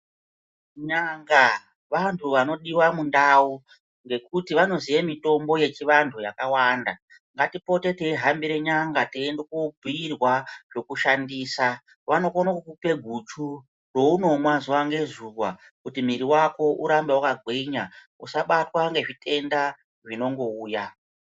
N'anga vantu vanodiwa mundau, ngekuti vanoziye mitombo yechivantu yakawanda, ngatipotere teihambire n;anga teiende kobhuyirwa zvokushandisa, vanokone kukupa guchu rounomwa zuwa ngezuwa kuti mwiri wako urambe wakagwinya usabatwa ngezvitenda zvingouya.